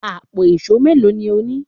Àpò ìṣó mélòó ni o ní?